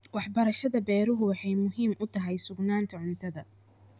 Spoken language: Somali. Waxbarashada beeruhu waxay muhiim u tahay sugnaanta cuntada.